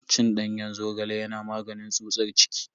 Cin danyen zogale yana maganin tsutsar ciki.